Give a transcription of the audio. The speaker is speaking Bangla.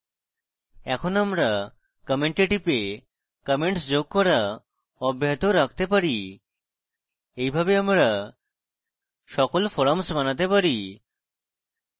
in আমরা comment we টিপে comments যোগ করা অব্যাহত রাখতে পারি এইভাবে আমরা সকল forums বানাতে পারি